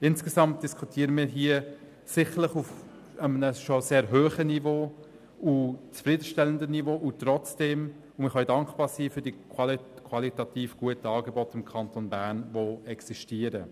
Insgesamt diskutieren wir hier sicherlich auf einem bereits sehr hohen und zufriedenstellenden Niveau, und trotzdem: Wir können für die existierenden, qualitativ guten Angebote im Kanton Bern dankbar sein.